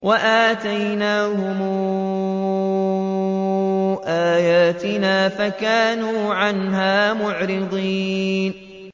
وَآتَيْنَاهُمْ آيَاتِنَا فَكَانُوا عَنْهَا مُعْرِضِينَ